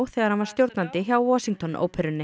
þegar hann var stjórnandi hjá Washington óperunni